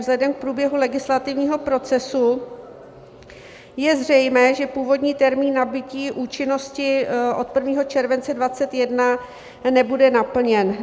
Vzhledem k průběhu legislativního procesu je zřejmé, že původní termín nabytí účinnosti od 1. července 2021 nebude naplněn.